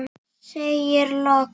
Segir loks